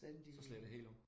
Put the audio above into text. Så slår det helt om?